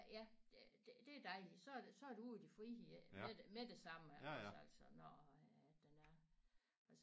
Ja det det det er dejligt så er det så er du ude i det frie med det med det samme iggås altså når øh den er